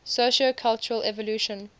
sociocultural evolution